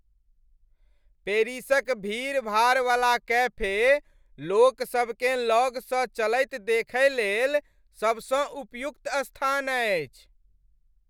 पेरिसक भीड़भाड़वला कैफे लोकसभ केँ लगसँ चलैत देखयलेल सबसँ उपयुक्त स्थान अछि।